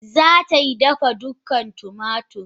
Zatai dafa dukan da tumatir.